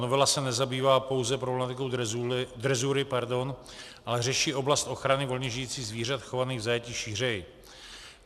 Novela se nezabývá pouze problematikou drezury, ale řeší oblast ochrany volně žijících zvířat chovaných v zajetí šířeji.